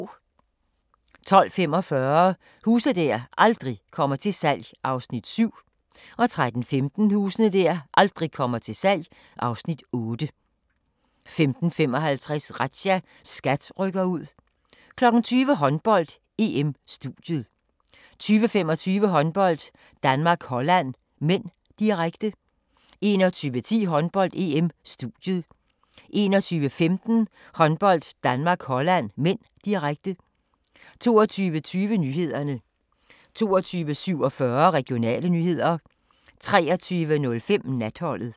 12:45: Huse der aldrig kommer til salg (Afs. 7) 13:15: Huse der aldrig kommer til salg (Afs. 8) 15:55: Razzia – SKAT rykker ud 20:00: Håndbold: EM - studiet 20:25: Håndbold: Danmark-Holland (m), direkte 21:10: Håndbold: EM - studiet 21:15: Håndbold: Danmark-Holland (m), direkte 22:20: Nyhederne 22:47: Regionale nyheder 23:05: Natholdet